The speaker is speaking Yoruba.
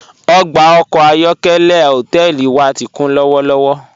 Ogba ọkọ ayọ̀kẹ̀lẹ̀ hotẹẹli wa ti kun lọwọlọwọ.